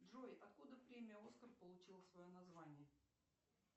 джой откуда премия оскар получил свое название